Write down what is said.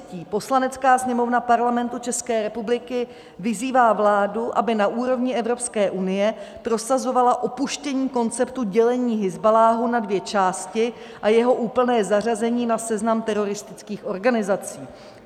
Poslanecká sněmovna Parlamentu České republiky vyzývá vládu, aby na úrovni Evropské unie prosazovala opuštění konceptu dělení Hizballáhu na dvě části a jeho úplné zařazení na seznam teroristických organizací.